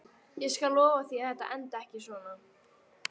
Ég skal lofa því að þetta endar ekki svona.